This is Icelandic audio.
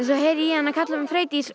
heyri ég hana kalla á mig Freydís